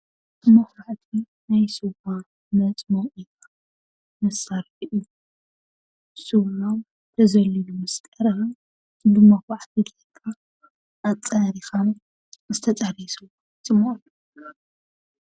መኹባዕቲ ስዋ መፅሞቒ መሳርሒ እዩ። ስዋ ተዘሊሉ ምስ ቀረበ ብመኹባዕቲ ጌርካ ኣፃሪኻ ዝተፃረየ ስዋ ይፅሞቕ።